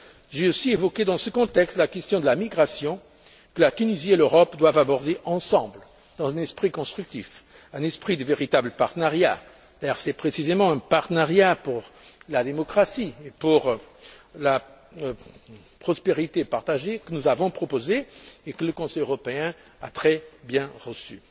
J'ai aussi évoqué, dans ce contexte, la question de la migration, que la Tunisie et l'Europe doivent aborder ensemble, dans un esprit constructif, un esprit de véritable partenariat, car c'est précisément un partenariat pour la démocratie et pour la prospérité partagée que nous avons proposé et que le Conseil européen a très bien reçu.